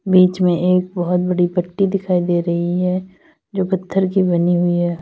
बीच में एक बोहोत बड़ी पट्टी दिखाई दे रही है जो पत्थर की बनी हुई है।